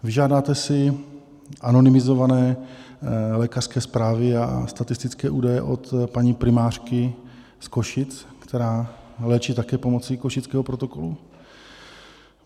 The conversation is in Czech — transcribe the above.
Vyžádáte si anonymizované lékařské zprávy a statistické údaje od paní primářky z Košic, která léčí také pomocí Košického protokolu?